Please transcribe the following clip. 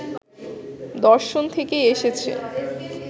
দর্শন থেকেই এসেছে।